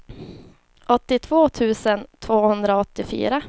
åttiotvå tusen tvåhundraåttiofyra